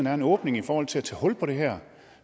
er en åbning i forhold til at tage hul på det her